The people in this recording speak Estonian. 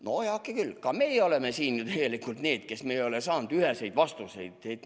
No heakene küll, ka meie oleme siin ju tegelikult need, kes ei ole saanud üheseid vastuseid.